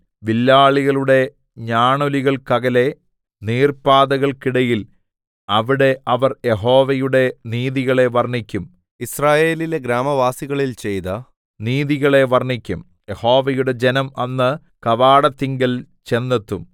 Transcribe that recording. വില്ലാളികളുടെ ഞാണൊലികൾക്കകലെ നീർപ്പാതകൾക്കിടയിൽ അവിടെ അവർ യഹോവയുടെ നീതികളെ വർണ്ണിക്കും യിസ്രായേലിലെ ഗ്രാമവാസികളിൽ ചെയ്ത നീതികളെ വർണ്ണിക്കും യഹോവയുടെ ജനം അന്ന് കവാടത്തിങ്കൽ ചെന്നെത്തും